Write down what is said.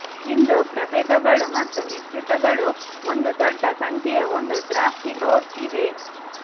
ಇಂದು ಪ್ರಭೇದಗಳು ಮತ್ತು ಮಿಶ್ರತಳಿಗಳು ಒಂದು ದೊಡ್ಡ ಸಂಖ್ಯೆಯ ಒಂದು ದ್ರಾಕ್ಷಿ ಲೊಟ್ ಇವೆ